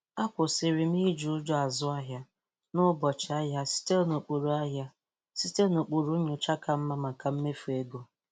Akwụsirị m iịi ụjọ azụ ahịa n'ụbọchị ahia site n'ụkpụrụ ahia site n'ụkpụrụ nyocha ka mma maka mmefu ego.